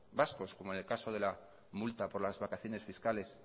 vascos como en el caso de la multa por las vacaciones fiscales